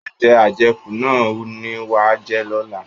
Oúnjẹ ajẹkù náà ni wàá jẹ lọ́la!